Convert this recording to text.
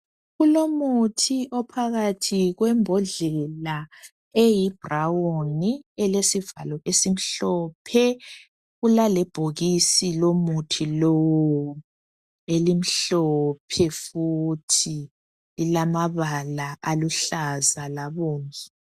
Kulomuthi ophakathi kwembodlela eyibrawuni elesivalo esimhlophe, kulalebhokisi lomuthi lowu elimhlophe futhi, lilamabala aluhlaza labomvu.